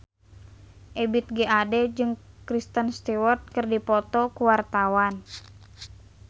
Ebith G. Ade jeung Kristen Stewart keur dipoto ku wartawan